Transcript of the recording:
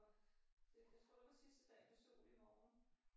Og det det skulle også være sidste dag med sol i morgen